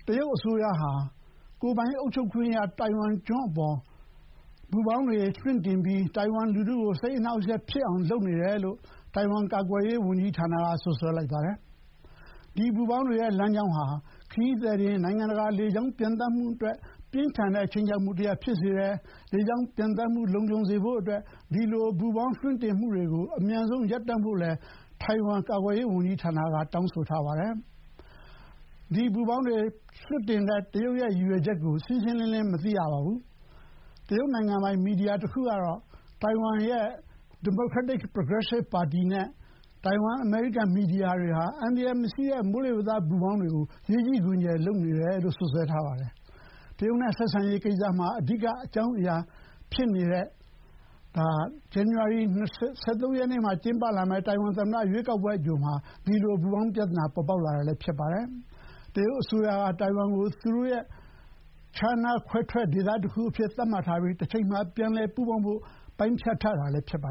တရုတ်အစိုးရဟာ ကိုယ်ပိုင်အုပ်ချုပ်ခွင့်ရ တိုင်ဝမ်ကျွန်းအပေါ် ပူပေါင်းတွေ လွှင့်တင်ပြီး ၊ တိုင်ဝမ်လူထုကို စိတ်အနှောက်အယှက်ဖြစ်အောင် လုပ်နေတယ်လို့ − တိုင်ဝမ် ကာကွယ်ရေးဝန်ကြီးဌာနက စွပ်စွဲလိုက်ပါတယ်။ ဒီ ပူပေါင်းတွေရဲ့ လမ်းကြောင်းဟာ ခရီးသည်တင် နိုင်ငံတကာ လေကြောင်းပျံသန်းမှုအတွက် ပြင်းထန်တဲ့ ခြိမ်းခြောက်မှုတရပ် ဖြစ်စေတယ် ၊ လေကြောင်းပျံသန်းမှု လုံခြုံစေဖို့အတွက် ဒီပူပေါင်း လွှင့်တင်မှုတွေကို အမြန်ဆုံး ရပ်တန့်ဖို့ တိုင်ဝမ် ကာကွယ်ရေးဝန်ကြီးဌာနက တောင်းဆိုထားပါတယ်။ ဒီပူပေါင်းတွေ လွှတ်တင်တဲ့ တရုတ်ရဲ့ ရည်ရွယ်ချက်ကို ရှင်းရှင်းလင်းလင်း မသိရပါဘူး။ တရုတ်နိုင်ငံပိုင် မီဒီယာတခုကတော့ တိုင်ဝမ် Democratic Progressive Party နဲ့ တိုင်ဝမ်−အမေရိကန် မီဒီယာတွေဟာ အန္တရာယ်မရှိတဲ့ မိုးလေးဝသ ပူပေါင်းတွေကို ရေးကြီးခွင်ကျယ် လုပ်နေတယ်လို့ စွပ်စွဲထားပါတယ်။ တရုတ်နဲ့ ဆက်ဆံရေးကိစ္စမှာ အဓိက အကြောင်းအရာဖြစ်နေတဲ့ ဇန်နဝါရီ ၁၃ ရက် တိုင်ဝမ်သမ္မတ ရွေးကောက်ပွဲ အကြိုမှာ ဒီပူပေါင်းပြသနာ ပေါ်ပေါက်လာတာ ဖြစ်ပါတယ်။ တရုတ်အစိုးရက တိုင်ဝမ်ကို သူတို့ရဲ့ ခြားနားခွဲထွက် −ဒေသတခုအဖြစ် သတ်မှတ်ပြီး ၊ တချိန်မှာ ပြန်လည်ပူးပေါင်းဖို့ ပိုင်းဖြတ်ထားတာ ဖြစ်ပါ